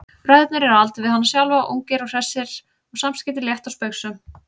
Bræðurnir eru á aldur við hana sjálfa, ungir og hressir og samskiptin létt og spaugsöm.